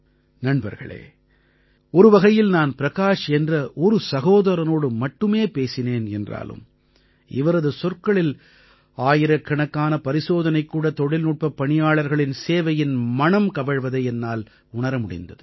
நண்பர்களே ஒருவகையில் நான் பிரகாஷ் என்ற ஒரு சகோதரனோடு மட்டுமே பேசினேன் என்றாலும் இவரது சொற்களில் ஆயிரக்கணக்கான பரிசோதனைக்கூட தொழில்நுட்பப் பணியாளர்களின் சேவையின் மணம் கமழ்வதை என்னால் உணர முடிந்தது